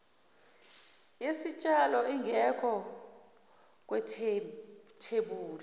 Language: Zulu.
yesitshalo ingekho kwethebuli